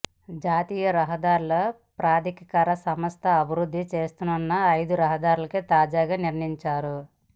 జాతీయ రహదారుల ప్రాధికార సంస్ధ అభివృద్ధి చేయనున్న ఐదు రహదారులను తాజాగా నిర్ణయించారు